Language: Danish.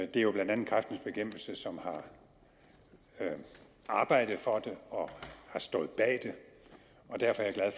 det er jo blandt andet kræftens bekæmpelse som har arbejdet for det og stået bag det og derfor er jeg